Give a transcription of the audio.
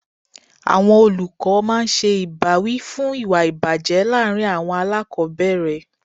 Àwọn olùkọ́ máa ń ṣe ìbáwí fún ìwà ìbàjẹ́ láàárín àwọn aláàkọ́bẹ̀rẹ̀.